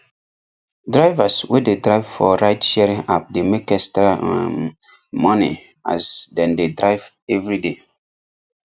drivers wey dey drive for ride sharing app dey make extra um money as dem dey drive everyday